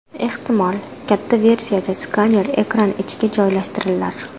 Ehtimol, katta versiyada skaner ekran ichiga joylashtirilar.